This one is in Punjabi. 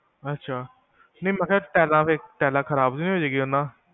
ਅੱਛਾ ਨਹੀ ਮੈਂ ਕਿਹਾ ਟਾਈਲਾਂ ਖ਼ਰਾਬ ਨੀ ਹੋਜੇਗੀ ਓਹਦੇ ਨਾਲ